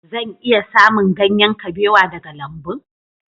Zan iya samun ganyen kabewa daga lambun?